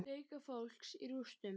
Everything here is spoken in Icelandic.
Leita fólks í rústum